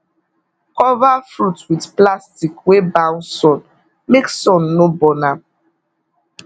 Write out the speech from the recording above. cover fruit with plastic wey bounce sun make sun no burn am